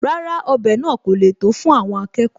Rárá, ọbẹ̀ náà kò le tó fún àwọn akẹkọ̀ọ́